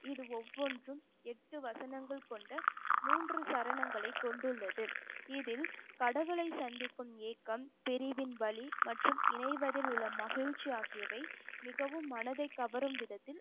இது ஒவ்வொன்றும் எட்டு வசனங்கள் கொண்ட மூன்று சரணங்களை கொண்டுள்ளது இதில் கடவுளை சந்திக்கும் ஏக்கம் பிரிவின் வலி மற்றும் இணைவதில் உள்ள மகிழ்ச்சி ஆகியவை மிகவும் மனதைக் கவரும் விதத்தில்